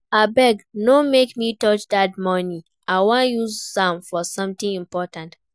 Abeg no make me touch dat money, I wan use am for something important